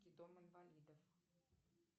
дом инвалидов